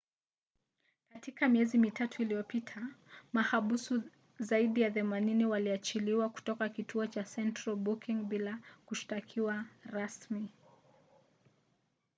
katika miezi mitatu iliyopita mahabusu zaidi ya 80 waliachiliwa kutoka kituo cha central booking bila kushtakiwa rasmi